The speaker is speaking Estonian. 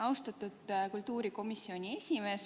Austatud kultuurikomisjoni esimees!